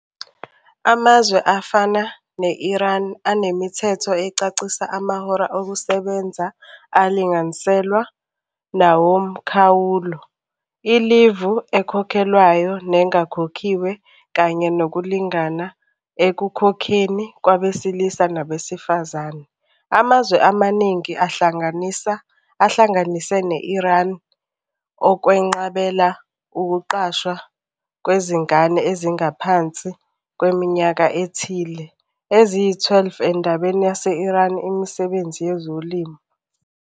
Amazwe afana ne-Iran anemithetho ecacisa amahora okusebenza alinganiselwa nawomkhawulo. Ilivu ekhokhelwayo nengakhokhiwe kanye nokulingana ekukhokheni kwabesilisa nabesifazane. Amazwe amaningi ahlanganisa, ahlanganise ne-Iran okwenqabela ukuqashwa kwezingane ezingaphansi kweminyaka ethile. Eziyi-twelve endabeni yase-Iran imisebenzi yezolimo.